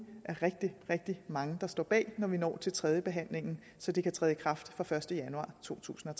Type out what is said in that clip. er rigtig rigtig mange der står bag når vi når til tredjebehandlingen så det kan træde i kraft fra den første januar totusinde og